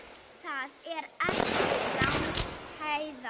Það er ekki langt héðan.